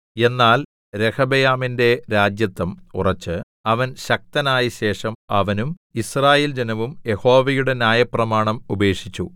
എന്നാൽ രെഹബെയാമിന്റെ രാജത്വം ഉറച്ച് അവൻ ശക്തനായ ശേഷം അവനും യിസ്രായേൽ ജനവും യഹോവയുടെ ന്യായപ്രമാണം ഉപേക്ഷിച്ചു